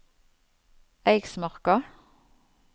Eiksmarka